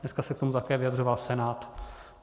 Dneska se k tomu také vyjadřoval Senát.